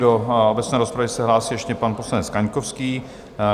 Do obecné rozpravy se hlásí ještě pan poslanec Kaňkovský.